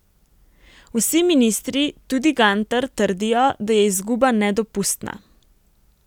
Vsi ministri, tudi Gantar, trdijo, da je izguba nedopustna.